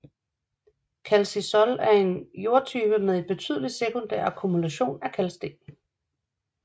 Calcisol er en jordtype med en betydelig sekundær akkumulation af kalksten